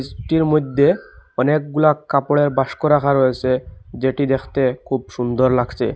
ঘরটির মদ্যে অনেকগুলা কাপড়ের বাস্ক রাখা রয়েসে যেটি দেখতে খুব সুন্দর লাগছে।